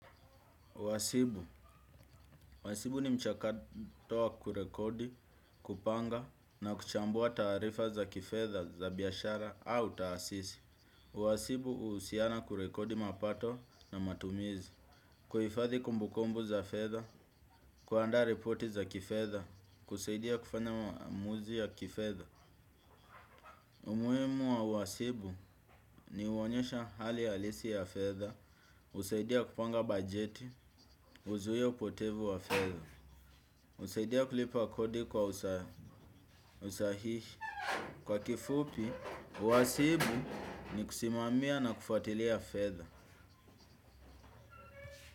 Wasibu. Wasibu ni mchakato wa kurekodi, kupanga na kuchambua taarifa za kifedha za biashara au taasisi. Wasibu usiana kurekodi mapato na matumizi. Kuhifathi kumbukumbu za fedha, kuandaa ripoti za kifedha, kusaidia kufanya maamuzi ya kifedha. Umuhimu wa wasibu ni huonyesha hali halisi ya fedha, husaidia kupanga bajeti, huzuia upotevu wa fedha. Husaidia kulipa kodi kwa usahihi kwa kifupi, wasibu ni kusimamia na kufuatilia fedha.